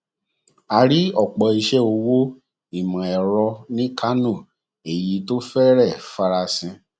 a rí ọpọ iṣẹ òwò ìmọ ẹrọ ní kano èyí tó fẹrẹẹ farasin